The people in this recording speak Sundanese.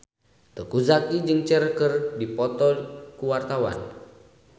Teuku Zacky jeung Cher keur dipoto ku wartawan